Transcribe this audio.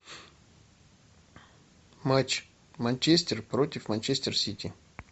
матч манчестер против манчестер сити